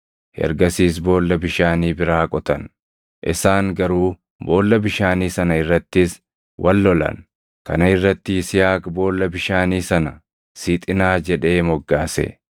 Ergasiis boolla bishaanii biraa qotan; isaan garuu boolla bishaanii sana irrattis wal lolan; kana irratti Yisihaaq boolla bishaanii sana “Sixinaa” jedhee moggaase.